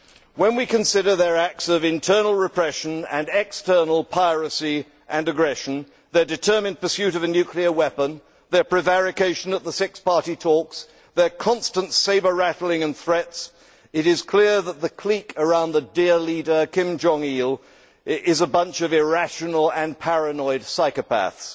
When we consider their acts of internal repression and external piracy and aggression, their determined pursuit of a nuclear weapon, their prevarication at the Six Party Talks, their constant sabre rattling and threats, it is clear that the clique around the Dear Leader' Kim Jong Il is a bunch of irrational and paranoid psychopaths.